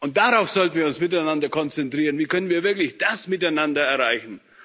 Und darauf sollten wir uns miteinander konzentrieren Wie können wir wirklich das miteinander erreichen?